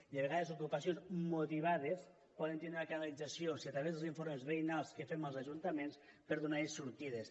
i a vegades ocupacions motivades poden tindre una canalització a través dels informes veïnals que fem els ajuntaments per donar hi sortides